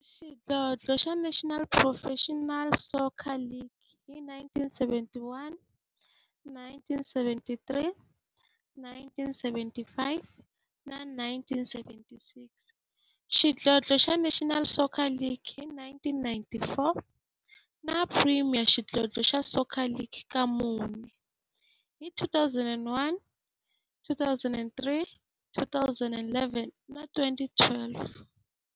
Xidlodlo xa National Professional Soccer League hi 1971, 1973, 1975 na 1976, xidlodlo xa National Soccer League hi 1994, na Premier Xidlodlo xa Soccer League ka mune, hi 2001, 2003, 2011 na 2012.